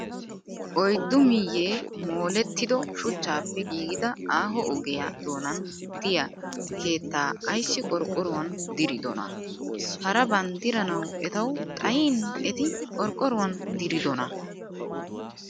Oyiddu miyyee molettido shuchchaappe giigida aaho ogiyaa donan diyaa keettaa ayissi qorqqoruwan diridonaa? Haraban diranawu etawu xayin eti qorqqoruwan diridonaa?